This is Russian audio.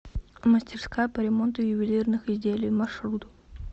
мастерская по ремонту ювелирных изделий маршрут